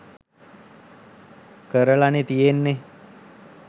කරලනේ තියෙන්නේ